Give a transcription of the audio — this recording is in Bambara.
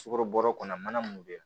Sukarobɔrɛ kɔnɔ mana mun bɛ